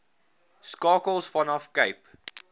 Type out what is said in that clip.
skakels vanaf cape